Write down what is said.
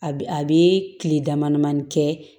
A bi a be tile damadamanin kɛ